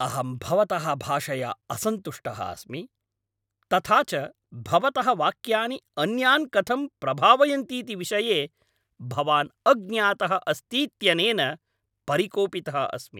अहं भवतः भाषया असन्तुष्टः अस्मि, तथा च भवतः वाक्यानि अन्यान् कथं प्रभावयन्तीति विषये भवान् अज्ञातः अस्तीत्यनेन परिकोपितः अस्मि।